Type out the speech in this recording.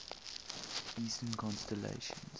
eastern constellations